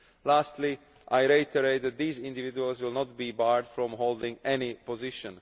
Lastly, I reiterate that these individuals will not be barred from holding any position